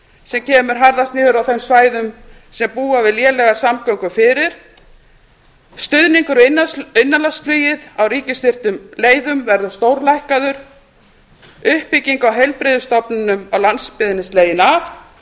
sem kemur harðast niður á þeim svæðum sem búa við lélegar samgöngur fyrir stuðningur við innanlandsflugið á ríkisstyrktum leiðum verður stórlækkaður uppbygging á heilbrigðisstofnunum á landsbyggðinni slegin af